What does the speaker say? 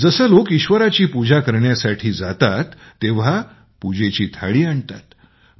जसे लोक ईश्वराची पूजा करण्यासाठी जातात तेव्हा प्रसादाची थाळी आणतात